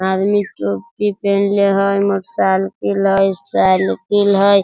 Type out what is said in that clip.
आदमी टोपी पिनहले हय मोटर सालकिल हय सालकिल हय।